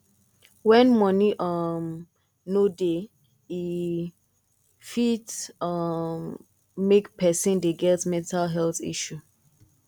when money um no dey e um fit um make person dey get mental health issue